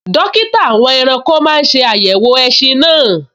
Dókítà àwọn ẹranko náà n ṣe àyẹ̀wò ẹṣin náà